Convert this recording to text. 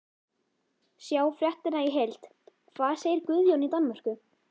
Sjá fréttina í heild: Hvað segir Guðjón í Danmörku?